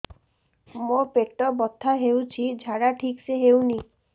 ମୋ ପେଟ ବଥା ହୋଉଛି ଝାଡା ଠିକ ସେ ହେଉନି